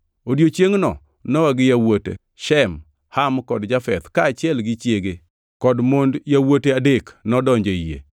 Odiechiengʼno Nowa gi yawuote, Shem, Ham, kod Jafeth, kaachiel gi chiege kod mond yawuote adek, nodonjo e yie.